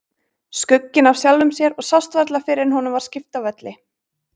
Skugginn af sjálfum sér og sást varla fyrr en honum var skipt af velli.